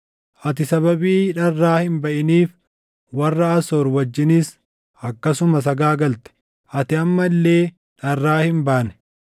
Ati sababii dharraa hin baʼiniif warra Asoor wajjinis akkasuma sagaagalte; ati amma illee dharraa hin baane.